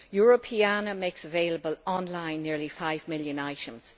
Europeana makes available online nearly five million items.